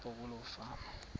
apho kuloo fama